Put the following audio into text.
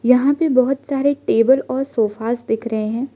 यहां पे बहुत सारे टेबल और सोफास दिख रहे हैं।